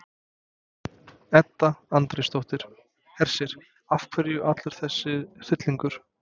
Edda Andrésdóttir: Hersir, af hverju allur þessi hryllingur?